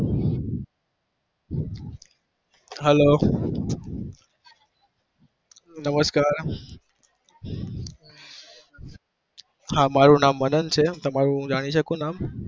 Hello નમ નમ નમસ્કાર કે તમારું નામ જાણી શકું છુ?